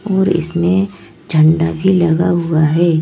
और इसमें झंडा भी लगा हुआ है।